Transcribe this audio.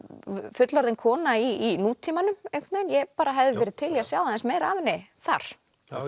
fullorðin kona í nútímanum ég hefði verið til í að sjá aðeins meira af henni þar